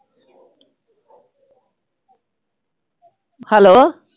Hello